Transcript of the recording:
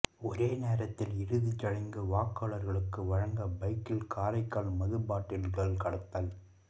ஒரே நேரத்தில் இறுதிச்சடங்கு வாக்காளர்களுக்கு வழங்க பைக்கில் காரைக்கால் மது பாட்டில்கள் கடத்தல்